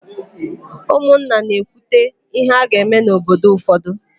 Ụmụnna na-ekwute íhé a ga-eme n'obodo ụfọdụ.